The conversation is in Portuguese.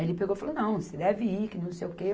Aí ele pegou e falou, não, você deve ir, que não sei o quê.